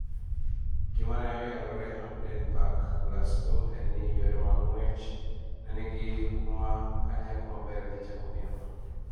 Gimane oyangore Hampden Park, Glasgow en ni johera mag ng'wech ne gini huma ka nyako maber dhi chako piem